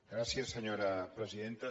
gràcies senyora presidenta